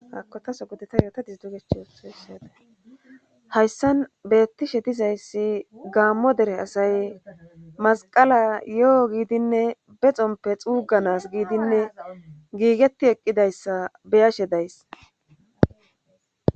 hakotaso godeta yoota disdugech ooessaada hayssan bettishe dizayssi gaammo dere asay masqala yo7o giidinne bexompe xuuganas giidinne giigetti eqqidayssa beyashe days